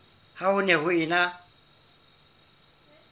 ha ho ne ho ena